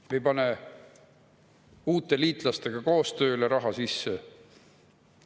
Me ei pane uute liitlastega koostööle raha sisse.